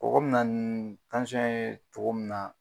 Kɔkɔ mi na nii ye cogo min na